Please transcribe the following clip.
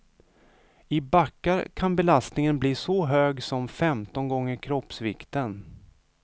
I backar kan belastningen bli så hög som femton gånger kroppsvikten.